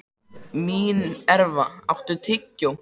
Mínerva, áttu tyggjó?